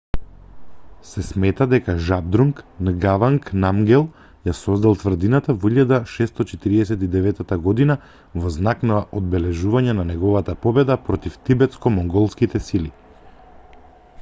се смета дека жабдрунг нгаванг намгел ја создал тврдината во 1649 г во знак на одбележување на неговата победа против тибетско-монголските сили